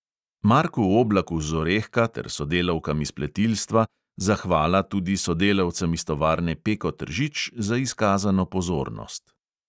Marku oblaku z orehka ter sodelavkam iz pletilstva, zahvala tudi sodelavcem iz tovarne peko tržič za izkazano pozornost.